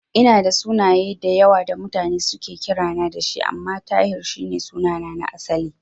Ina da sunaye da yawa da mutane suke kirana da shi, amma Tahir shi ne sunana na asali.